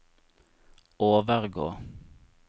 overgå